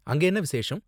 அங்க என்ன விசேஷம்?